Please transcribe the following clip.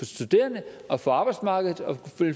studerende og for arbejdsmarkedet og